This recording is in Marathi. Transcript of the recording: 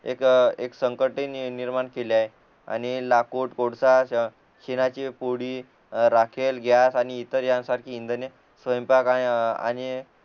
एक एक संकटी निर्माण केली आहे आणि लाकूड कोळसा शेणाचे पोळी राकेल ग्यास आणि ईतर यांसारखे इंधने स्वयंपाक आणि